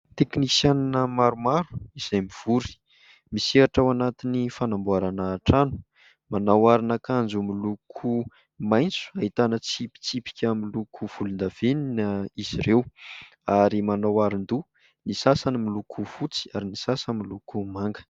Teknisianina maromaro izay mivory, misehatra ao anatin'ny fanamboarana trano. Manao aron'akanjo miloko maitso, ahitana tsipitsipika miloko volondavenona izy ireo, ary manao aron-doha, ny sasany miloko fotsy ary ny sasany miloko manga.